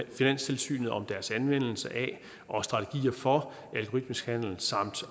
finanstilsynet om deres anvendelse af og strategier for algoritmisk handel samt